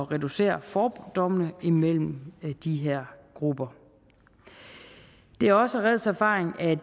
reducere fordommene imellem de her grupper det er også reds erfaring at